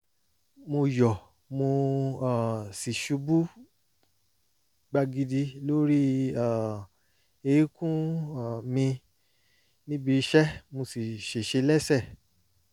mo yọ mo um sì ṣubú gbagidi lórí um eékún um mi níbi iṣẹ́ mo sì ṣèṣe lẹ́sẹ̀